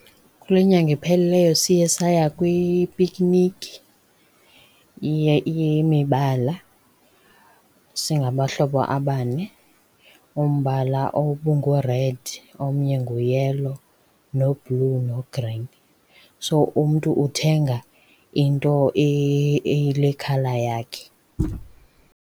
Kule nyanga iphelileyo siye saya kwipikiniki yemibala singabahlobo abane. Umbala obungu-red omnye ngu-yellow, no-blue no-green. So, umntu uthenga into eyile colour yakhe.